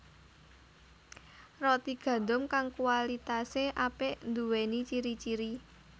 Roti gandum kang kualitasé apik nduwéni ciri ciri